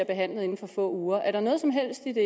behandlet inden for få uger er der noget som helst i det